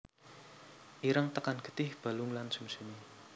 Ireng tekan getih balung lan sumsume